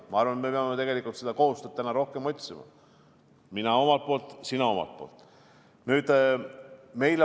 Ma arvan, et me peame seda koostööd rohkem otsima, mina omalt poolt, sina omalt poolt.